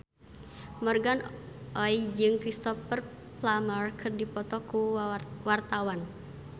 Morgan Oey jeung Cristhoper Plumer keur dipoto ku wartawan